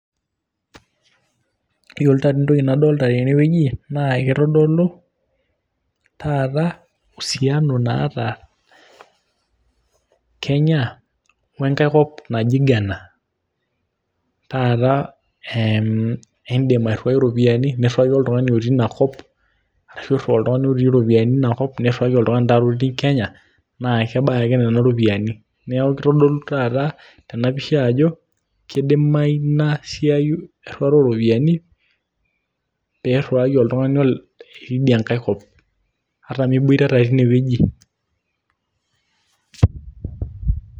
iyiolo taa dii entoki nadolta tene wueji naa kitodolu taata usiano naata kenya, we nkae kop naji ghana. taa idim airiwai iropiyiani, niriwaki oltungani otiii ina kop, ashu iriu oltungani iropoyiani oti ina kop niriwaki oltung'ani taata otii kenya. naa kebae ake nena ropiyiani. neeku kitodolu ena pisha ajo kidimayu ina siai enkiriwata oo ropiyiani, pee iriwaki oltungani itii idia nkae kop. ata miboitata teine wueji,.